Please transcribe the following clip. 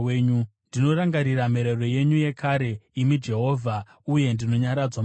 Ndinorangarira mirayiro yenyu yekare, imi Jehovha, uye ndinonyaradzwa mairi.